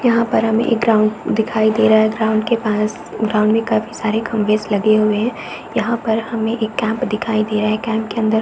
यहाँ पर हमें एक ग्राउंड दिखाई दे रहा है ग्राउंड के पास ग्राउंड में काफी सारे खम्बेस लगे हुए है यहाँ पर हमें एक कैंप दिखाई दे रहा है कैंप के अंदर --